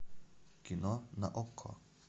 кино на окко